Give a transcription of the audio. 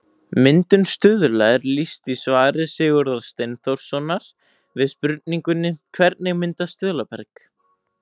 Myndun stuðla er lýst í svari Sigurðar Steinþórssonar við spurningunni Hvernig myndast stuðlaberg?